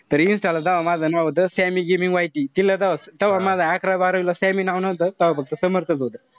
तरी insta ला तेव्हा माझं sammy gimi wify तिला तव्हा माझं अकरावी बारावीला sammy नव्हतं तव्हा फक्त समर्थच होत.